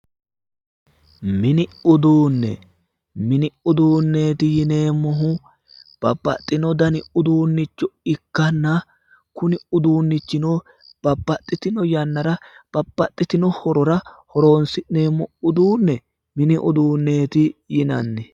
Mini uduunne mini uduunneeti yineemmohu Babbaxxino dani uduunnicho ikkanna kuni uduunnichino babbaxxitino yannara Babbaxxino hirora horonsi'neemmoha mini uduunneeti yinanni